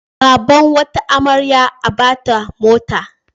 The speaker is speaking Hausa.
Baban wata amarya a ba ta mota.